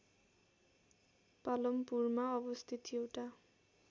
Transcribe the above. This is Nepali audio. पालमपुरमा अवस्थित एउटा